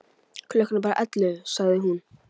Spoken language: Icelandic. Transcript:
Klukkan er bara ellefu, sagði hún.